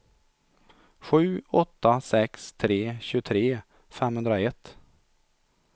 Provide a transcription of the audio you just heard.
sju åtta sex tre tjugotre femhundraett